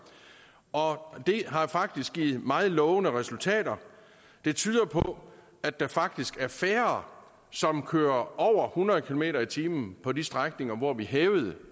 og det har faktisk givet meget lovende resultater det tyder på at der faktisk er færre som kører over hundrede kilometer per time på de strækninger hvor vi hævede